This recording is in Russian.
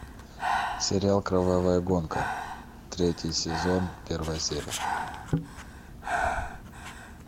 сериал кровавая гонка третий сезон первая серия